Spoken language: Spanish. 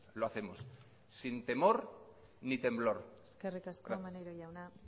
lo hacemos sin temor ni temblor gracias eskerrik asko maneiro jauna